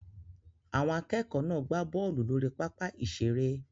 Àwọn akẹ́kọ̀ọ́ náà gbá bọ́ọ̀lù lórí pápá ìṣeré